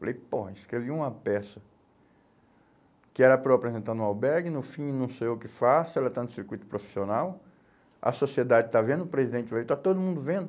Falei, pô, escrevi uma peça que era para eu apresentar no albergue, no fim não sei o que faço, ela está no circuito profissional, a sociedade está vendo o presidente ver, e está todo mundo vendo.